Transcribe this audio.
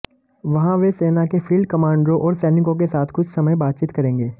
वहां वह सेना के फील्ड कमांडरों और सैनिकों के साथ कुछ समय बातचीत करेंगे